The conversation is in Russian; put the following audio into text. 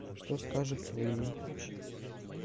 что скажут твои